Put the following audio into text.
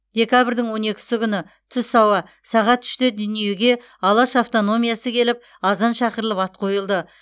декабрьдің он екісі күні түс ауа сағат үште дүниеге алаш автономиясы келіп азан шақырылып ат қойылды